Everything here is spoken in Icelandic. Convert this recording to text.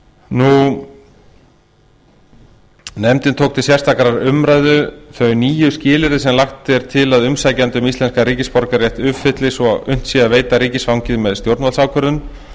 nefndin tók til sérstakrar umræðu þau nýju skilyrði sem lagt er til að umsækjandi um íslenskan ríkisborgararétt uppfylli svo unnt sé að veita ríkisfangið með stjórnvaldsákvörðun